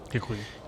Děkuji.